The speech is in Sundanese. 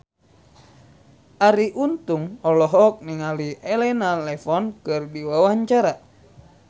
Arie Untung olohok ningali Elena Levon keur diwawancara